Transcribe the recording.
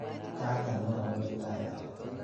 Kang'et, mamuchi tang'alal.